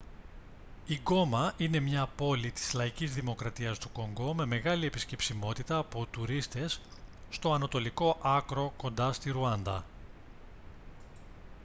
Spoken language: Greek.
η γκόμα είναι μια πόλη της λαϊκής δημοκρατίας του κονγκό με μεγάλη επισκεψιμότητα από τουρίστες στο ανατολικό άκρο κοντά στη ρουάντα